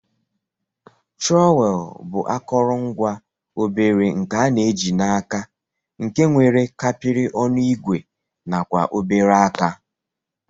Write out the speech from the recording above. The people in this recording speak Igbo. Trọwel bu akọrọngwa obere nke ana ji na aka nke nwere kapiri ọnụ igwe nakwa obere aka.